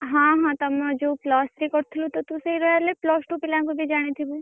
ହଁ ହଁ ତମର ଯୋଉ plus three କରୁଥିଲୁ ତୁ ତ ସେଇ royal ରେ plus two ପିଲାଙ୍କୁ ବି ଜାଣିଥିବୁ?